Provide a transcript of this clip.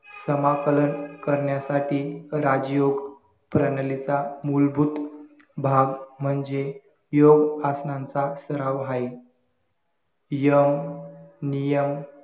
समाकलन करण्यासाठी राजयोग प्रणलीता मूलभूत भाग म्हणजे योग आसनांचा सराव आहे यम नियम